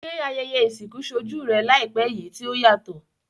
Se ayẹyẹ ìsìnkú solú rẹ làìpé yi ti o yàtò?